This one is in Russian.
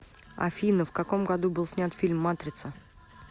афина в каком году был снят фильм матрица